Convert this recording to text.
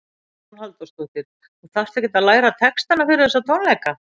Hugrún Halldórsdóttir: Þú þarft ekkert að læra textana fyrir þessa tónleika?